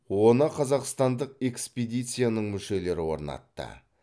оны қазақстандық экспедицияның мүшелері орнатты